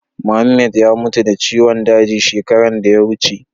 Muhammed ya mutu da ciwon daji shekaran da ya wuce.